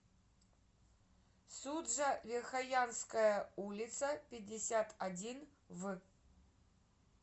суджа верхоянская улица пятьдесят один в